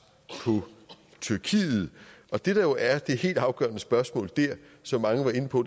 på tyrkiet og det der jo er det helt afgørende spørgsmål der som mange var inde på